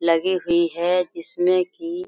लगी हुई है जिसमें की--